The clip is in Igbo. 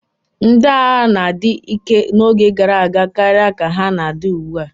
Ndị agha na-adi ike n'oge gara aga karịa ka ha na-adi ugbu a.